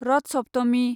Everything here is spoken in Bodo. रथ सप्तमि